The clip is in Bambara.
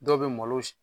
Dɔw bɛ malo